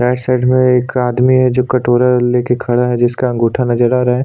Right side में एक आदमी है जो कटोरा लेके खड़ा है जिसका अंगूठा नजर आ रहा है ।